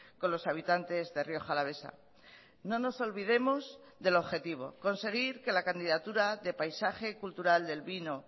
con los habitantes de rioja alavesa no nos olvidemos del objetivo conseguir que la candidatura de paisaje cultural del vino